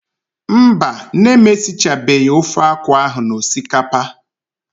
Mba, nne m esichabeghị ofe akwụ ahụ na osikapa.